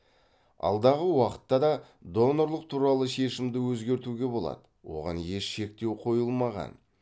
алдағы уақытта да донорлық туралы шешімді өзгертуге болады оған еш шектеу қойылмаған